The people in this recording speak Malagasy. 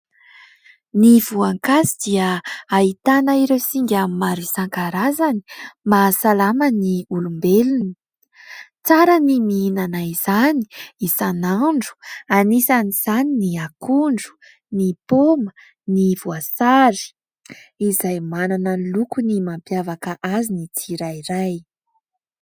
Ny voankazo dia ahitana ireo singa maro isankarazany mahasalama ny olombelona. Tsara ny mihinana izany isan'andro anisan'izany ny akondro, ny paoma, ny voasary izay manana ny lokony mampiavaka azy ny tsirairay.